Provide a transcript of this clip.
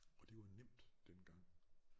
Og det var nemt dengang